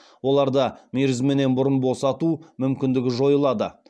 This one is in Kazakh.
оларды мерзімнен бұрын босату мүмкіндігі жойылады